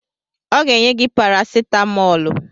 Ọ ga-enye gị parasetamọlụ